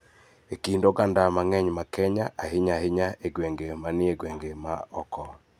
E kind oganda mang�eny ma Kenya, ahinya ahinya e gwenge ma ni e gwenge ma oko.